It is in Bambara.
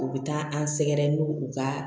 U bɛ taa an sɛgɛrɛ n'u u ka